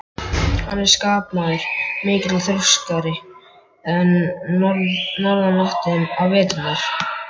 Hann er skapmaður mikill og þrjóskari en norðanáttin á veturna.